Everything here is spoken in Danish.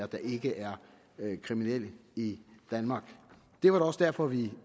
der ikke er kriminelt i danmark det var da også derfor vi